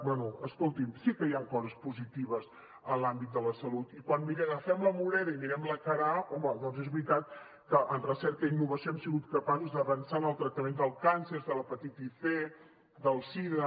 bé escolti’m sí que hi ha coses positives en l’àmbit de la salut i quan agafem la moneda i mirem la cara a home doncs és veritat que en recerca i innovació hem sigut capaços d’avançar en el tractament del càncer de l’hepatitis c de la sida